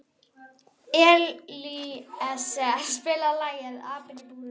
Elíeser, spilaðu lagið „Apinn í búrinu“.